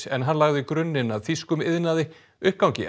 en hann lagði grunninn að þýskum iðnaði uppgangi